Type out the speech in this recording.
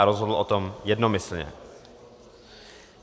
A rozhodl o tom jednomyslně.